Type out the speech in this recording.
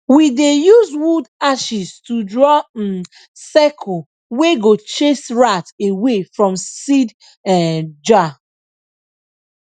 we dey use wood ashes to draw um circle wey go chase rat away from seed um jar